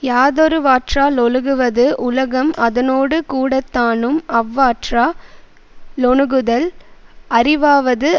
யாதொருவாற்றா லொழுகுவது உலகம் அதனோடு கூடத்தானும் அவ்வாற்றா னொணுகுதல் அறிவாவது